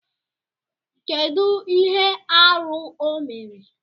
Kedu ihe arụ o mere?